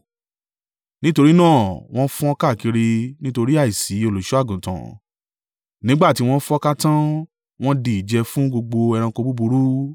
Nítorí náà wọn fọ́n káàkiri nítorí àìsí olùṣọ́-àgùntàn, nígbà tí wọ́n fọ́nká tán wọn di ìjẹ fún gbogbo ẹranko búburú.